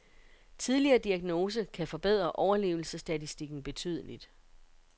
Tidligere diagnose kan forbedre overlevelsesstatistikken betydeligt.